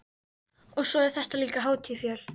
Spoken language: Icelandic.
Og svo er þetta líka hátíð fjöl